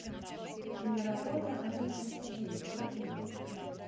киноработа один плюс один покажи мне